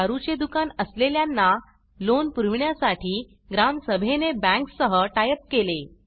दारूचे दुकान असलेल्यांना लोन पुरवीण्यासाठी ग्राम सभेने बॅंक्स सह टाइ अप केले